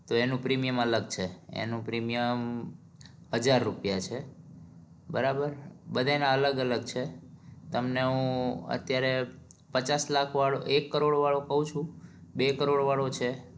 તો એનું premium અલગ છે એનું premium હજાર રૂપિયા છે બરાબર બધાયે ના અલગ અલગ છે તમને હું અત્યારે પચાસ લાખ વાળું એક કરોડ વાળું કઉ છું બે કરોડ વાળું છે